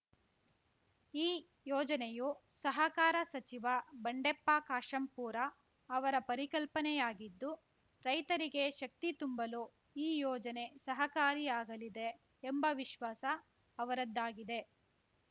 ಈ ಯೋಜನೆಯು ಸಹಕಾರ ಸಚಿವ ಬಂಡೆಪ್ಪ ಕಾಶೆಂಪೂರ ಅವರ ಪರಿಕಲ್ಪನೆಯಾಗಿದ್ದು ರೈತರಿಗೆ ಶಕ್ತಿ ತುಂಬಲು ಈ ಯೋಜನೆ ಸಹಕಾರಿಯಾಗಲಿದೆ ಎಂಬ ವಿಶ್ವಾಸ ಅವರದ್ದಾಗಿದೆ